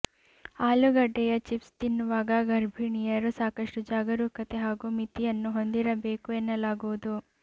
ಆಲೂಗಡ್ಡೆಯ chips ತಿನ್ನುವಾಗ ಗರ್ಭಿಣಿಯರು ಸಾಕಷ್ಟು ಜಾಗರೂಕತೆ ಹಾಗೂ ಮಿತಿಯನ್ನು ಹೊಂದಿರಬೇಕು ಎನ್ನಲಾಗುವುದು